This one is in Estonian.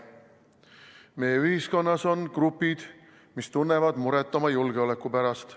Meie ühiskonnas on grupid, mis tunnevad muret oma julgeoleku pärast.